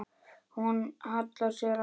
Hún hallar sér að honum.